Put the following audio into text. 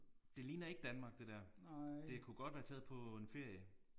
Det ligner ikke Danmark det der. Det kunne godt være taget på en ferie